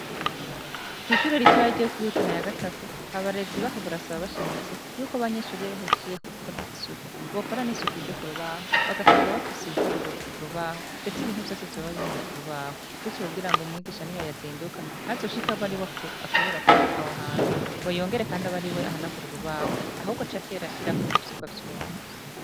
Kw'ishuri rito ya ryo kuri yutana ya gatatu abarezi baho barasaba bashimitse yuko abanyeshuriya bahejejje kukora isuku bokora n'isuku ryo ku rubaho bagasiga bafuse ibiharur ku rubaho, ndetse ibintu vyose zoba bihari ku rubaho gutyo kugira ngo umwigisha ni yo yazinduka ntazoshika abo ari we akubura awo hana ngo yongere, kandi aboari we ahanagura urubaho ahubwo acaterashirako ivyugwa vy'uwo musi.